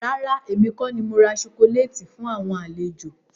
Rárá, èmi kọ ni mora sokoléétì fún àwọn àlejò.